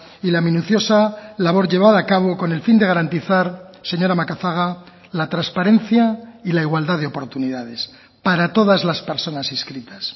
y la minuciosa labor llevada a cabo con el fin de garantizar señora macazaga la transparencia y la igualdad de oportunidades para todas las personas inscritas